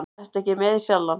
Ertu ekki með í Sjallann?